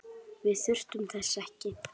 Við þurfum þess ekki.